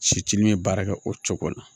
Siti ni ye baara kɛ o cogo la